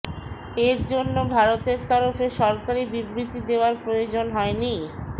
এর জন্য ভারতের তরফে সরকারি বিবৃতি দেওয়ার প্রয়োজন হয়নি